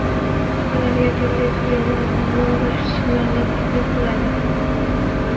Ularga turli tuzilmalar ma’lum bir sxemalarni taklif qiladi.